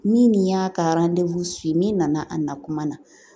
Ni nin y'a ka ye n'i nana a nakuma na